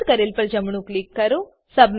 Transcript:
પસંદ કરેલ પર જમણું ક્લિક કરો